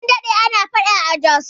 An daɗe ana faɗan Jos